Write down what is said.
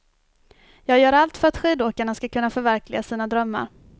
Jag gör allt för att skidåkarna ska kunna förverkliga sina drömmar.